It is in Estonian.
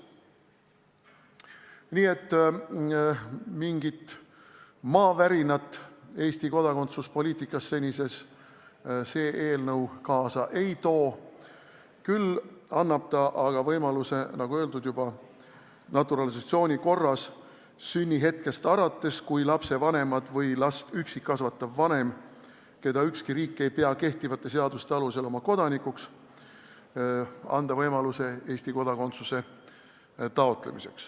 Nii et mingit maavärinat Eesti kodakondsuspoliitikas seadus kaasa ei tooks, küll annaks see lapsele võimaluse, nagu juba öeldud, saada naturalisatsiooni korras sünnihetkest alates Eesti kodanikuks, kui lapsevanemad või last üksi kasvatav vanem, keda ükski riik ei pea kehtivate seaduste alusel oma kodanikuks, lapsele seda soovib.